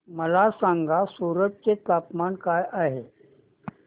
मला सांगा सूरत चे तापमान काय आहे